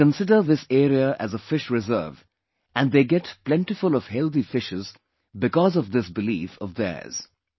They consider this area as a fish reserve and they get plentiful of healthy fishes because of this belief of theirs